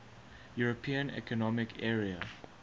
european economic area